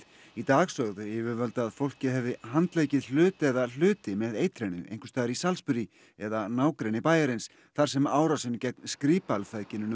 í dag sögðu yfirvöld að fólkið hefði handleikið hlut eða hluti með eitrinu einhvers staðar í Salisbury eða nágrenni bæjarins þar sem árásin gegn Skripal